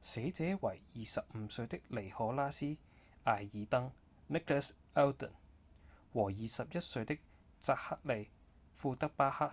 死者為25歲的尼可拉斯．阿爾登 nicholas alden 和21歲的札克利．庫德巴克